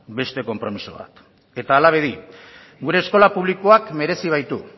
beste konpromiso bat eta hala bedi gure eskola publikoak merezi baitu